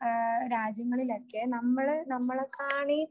ആ രാജ്യങ്ങളിലൊക്കെ നമ്മള് നമ്മളെ കാണി